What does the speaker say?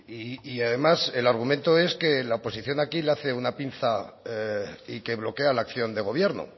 y además el argumento es que la oposición aquí le hace una pinza y que bloquea la acción de gobierno